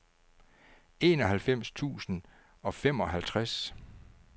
enoghalvfems tusind og femoghalvtreds